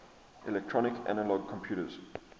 electronic analog computers